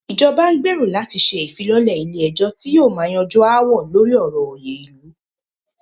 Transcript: Ìjọba n gbérò láti ṣe ìfilọ́lẹ̀ ilé ẹ̀jọ́ tí yóò máà yanjú aáwọ̀ lórí ọ̀rọ̀ òyè ilu.